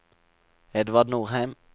Edvard Norheim